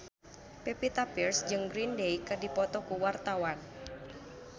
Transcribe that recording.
Pevita Pearce jeung Green Day keur dipoto ku wartawan